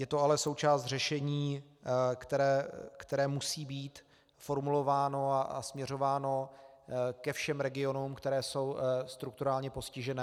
Je to ale součást řešení, které musí být formulováno a směřováno ke všem regionům, které jsou strukturálně postižené.